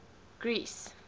greece